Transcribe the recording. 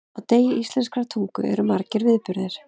Á degi íslenskrar tungu eru margir viðburðir.